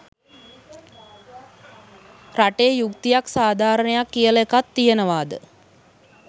රටේ යුක්තියක් සාධාරණයක් කියලා එකක් තියෙනවාද.